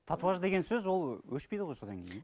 татуаж деген сөз ол өшпейді ғой содан кейін иә